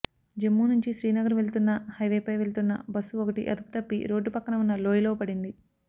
జమ్మూ నుంచి శ్రీనగర్ వెళ్తున్న హైవేపై వెళుతున్న బస్సు ఒకటి అదుపు తప్పి రోడ్డు పక్కన ఉన్న లోయలో పడింది